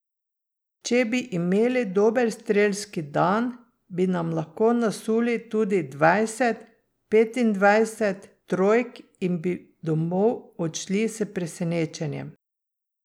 Če bi imeli dober strelski dan, bi nam lahko nasuli tudi dvajset, petindvajset trojk in bi domov odšli s presenečenjem.